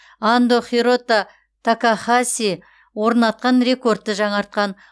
андо хирото такахаси орнатқан рекордты жаңартқан